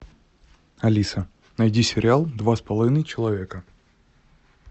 алиса найди сериал два с половиной человека